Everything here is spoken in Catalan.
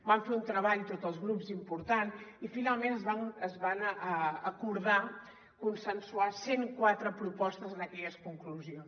vam fer un treball tots els grups important i finalment es van acordar consensuar cent quatre propostes en aquelles conclusions